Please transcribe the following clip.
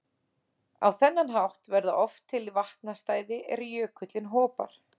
Á þennan hátt verða oft til vatnastæði er jökullinn hopar.